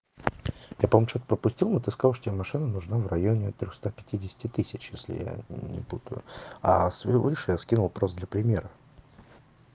я помню что-то пропустил но ты сказал тебе машина нужна в районе трёхста пятидесяти тысяч если я не путаю а всё выше скинул я скинул просто для примера